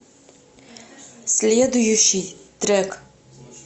следующий трек